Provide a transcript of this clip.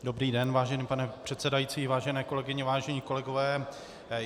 Dobrý den, vážený pane předsedající, vážené kolegyně, vážení kolegové.